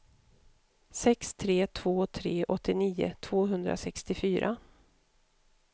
sex tre två tre åttionio tvåhundrasextiofyra